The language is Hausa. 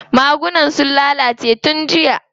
Magunan sun lalace tun jiya.